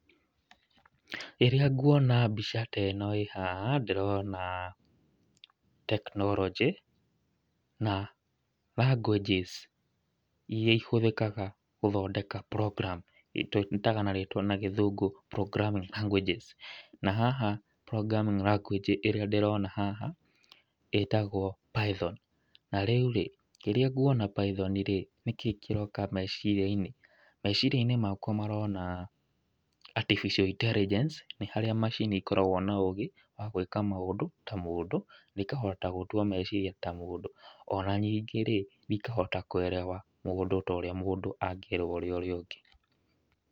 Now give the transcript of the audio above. Rĩrĩa nguona mbica ta ĩno ĩ haha, ndĩrona tekinoronjĩ, na languages iria ihũthĩkaga gũthondeka program tũĩtaga na rĩtwa na gĩthũngũ programming languages na haha programming language ĩrĩa ndĩrona haha, ĩtagwo Python, na rĩu rĩ, rĩrĩa nguona python rĩ, nĩ kĩi kĩroka meciria-inĩ? meciria-inĩ makwa marona artificia intelligence nĩ harĩa macini ikoragwo na ũgĩ wa gwĩka maũndũ ta mũndũ na ĩkahota gũtua meciria ta mũndũ. Ona ningĩ rĩ, ikahota kũerewa mũndũ ta ũrĩa angĩerewa ũrĩa ũngĩ.